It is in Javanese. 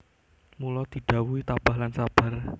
Mula didhawuhi tabah lan sabar